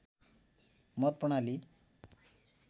मत प्रणाली